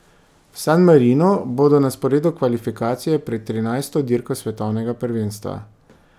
V San Marinu bodo na sporedu kvalifikacije pred trinajsto dirko svetovnega prvenstva.